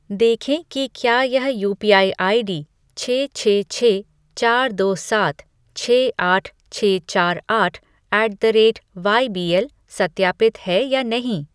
देखें कि क्या यह यूपीआई आईडी छः छः छः चार दो सात छः आठ छः चार आठ ऐट द रेटवाईबीएल सत्यापित है या नहीं।